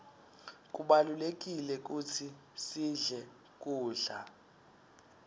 kubalulekile kutsi sidle kudla